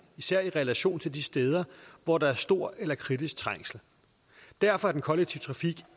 især i relation til de steder hvor der er stor eller kritisk trængsel derfor er den kollektive trafik